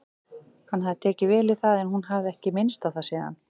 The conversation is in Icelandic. Hann hafði tekið vel í það en hún hafði ekki minnst á það síðan.